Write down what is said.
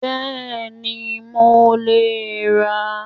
Bẹ́ẹ̀ni mo lè ran